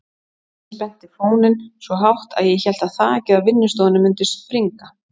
Nonni spennti fóninn svo hátt að ég hélt að þakið á vinnustofunni mundi springa.